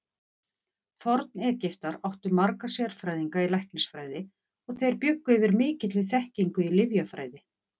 Forn-Egyptar áttu marga sérfræðinga í læknisfræði og þeir bjuggu yfir mikilli þekkingu í lyfjafræði.